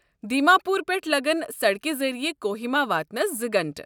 دیما پور پٮ۪ٹھ لگَن سڑکہِ ذٔریعہٕ کوہیما واتنَس زٕ گھنٹہٕ